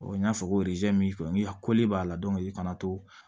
n y'a fɔ ko a b'a la i kana to